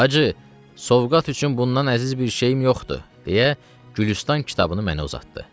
Hacı, sovqat üçün bundan əziz bir şeyim yoxdur, deyə Gülüstan kitabını mənə uzatdı.